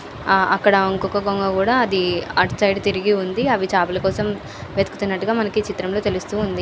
ఆ అక్కడ ఇంకొక కొంగ కూడా అది అటు సైడు తిరిగి ఉంది. అవి చేపల కోసం వెతుకుతున్నట్టు గా మనకి ఈ చిత్రంలో తెలుస్తుంది.